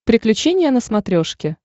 приключения на смотрешке